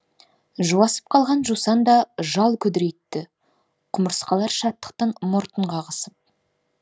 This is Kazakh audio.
жуасып қалған жусан да жал күдірейтті құмырсқалар шаттықтан мұртын қағысып